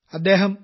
അദ്ദേഹം പി